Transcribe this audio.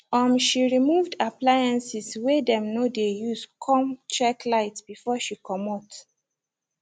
um she removed appliances wey dem no de use come check lights before she comot